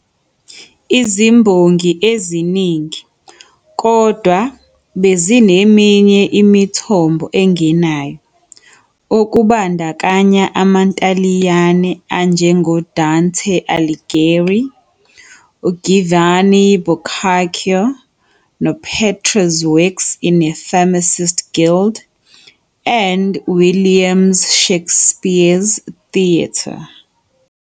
Izimbongi eziningi, kodwa, bezineminye imithombo engenayo, okubandakanya amaNtaliyane anjengoDante Aligheri, uGiovanni Boccaccio noPetrarch 's works in a pharmist's guild and William 's Shakespeare's theatre.